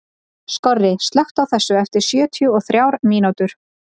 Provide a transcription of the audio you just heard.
Skorri, slökktu á þessu eftir sjötíu og þrjár mínútur.